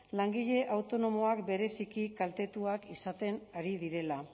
langile autonomoak bereziki kaltetuak izaten ari direla